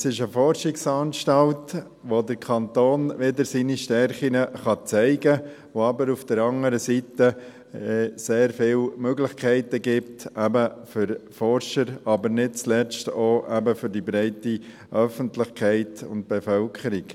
Es ist eine Forschungsanstalt, bei der Kanton wieder seine Stärken zeigen kann, die aber auf der anderen Seite sehr viele Möglichkeiten gibt für Forscher, aber nicht zuletzt auch eben für die breite Öffentlichkeit und Bevölkerung.